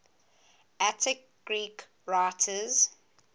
attic greek writers